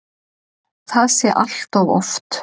Það sé allt of oft.